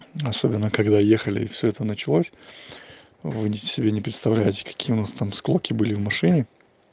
особенно когда ехали и всё это началось вводите себе не представляете какие у нас там склоки были в машине